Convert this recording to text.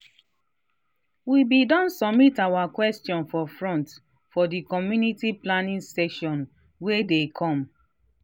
we been don submit our questions for front for the community planning session wa dey come